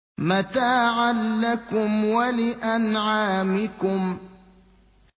مَتَاعًا لَّكُمْ وَلِأَنْعَامِكُمْ